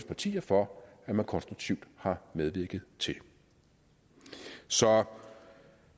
partier for at man konstruktivt har medvirket til så